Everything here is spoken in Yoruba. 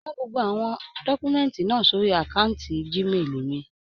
Rán gbogbo awọn dọkumẹ̀ntí náà sórí akanti Gmail mí.